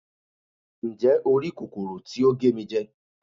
njé o ri kòkòrò tí o ge mi jẹ